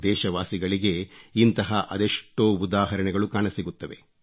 ದೇಶವಾಸಿಗಳಿಗೆ ಇಂತಹ ಅದೆಷ್ಟೋ ಉದಾಹರಣೆಗಳು ಕಾಣಸಿಗುತ್ತವೆ